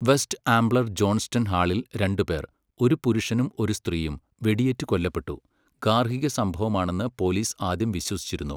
West Ambler Johnston ഹാളിൽ രണ്ട് പേർ, ഒരു പുരുഷനും ഒരു സ്ത്രീയും, വെടിയേറ്റ് കൊല്ലപ്പെട്ടു, ഗാർഹിക സംഭവമാണെന്ന് പോലീസ് ആദ്യം വിശ്വസിച്ചിരുന്നു.